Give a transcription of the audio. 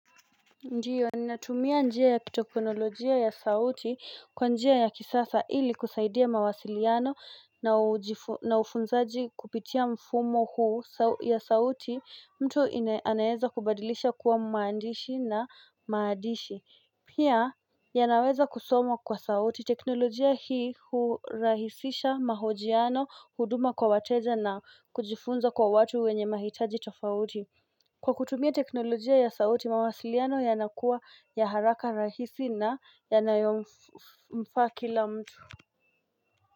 Ndiyo, ni natumia njia ya teknolojia ya sauti kwa njia ya kisasa ili kusaidia mawasiliano na ufunzaji kupitia mfumo huu ya sauti mtu anaeza kubadilisha kuwa maandishi na maadishi Pia, ya naweza kusoma kwa sauti, teknolojia hii hurahisisha mahojiano huduma kwa wateza na kujifunza kwa watu wenye mahitaji tofauti Kwa kutumia teknolojia ya sauti mawasiliano yanakua ya haraka rahisi na yanayo mfa kila mtu.